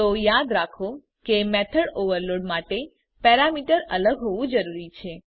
તો યાદ રાખો કે મેથડ ઓવરલોડ માટે પેરામીટર અલગ હોવું જરૂરી છે